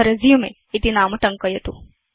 अथresume इति नाम टङ्कयतु